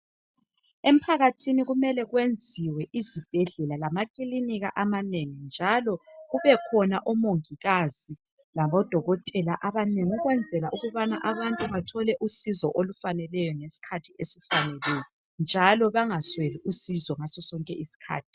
Emphakathini kumele kwenziwe izibhedlela lamakilinika amanengi njalo kube khona omongikazi labodokotela abanengi ukwenzela ukubana abantu bathole usizo olufaneleyo ngesikhathi esifaneleyo njalo bengasweli usizo ngaso sonke isikhathi